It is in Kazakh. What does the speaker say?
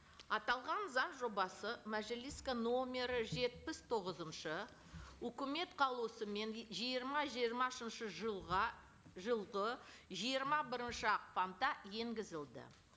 аталған заң жобасы мәжіліске номері жетпіс тоғызыншы үкімет қаулысымен жиырма жиырмасыншы жылға жылғы жиырма бірінші ақпанда енгізілді